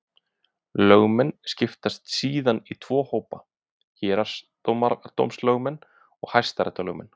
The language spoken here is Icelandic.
Lögmenn skiptast síðan í tvo hópa: Héraðsdómslögmenn og hæstaréttarlögmenn.